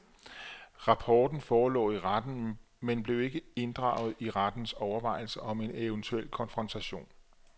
Rapporten forelå i retten, men blev ikke inddraget i rettens overvejelser om en eventuel konfrontation.